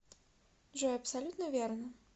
джой абсолютно верно